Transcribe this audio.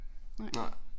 Nej